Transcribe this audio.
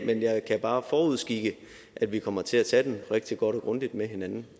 men jeg kan bare forudskikke at vi kommer til at tage den rigtig godt og grundigt med hinanden